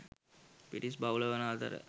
පිරිස් බහුල වන අතර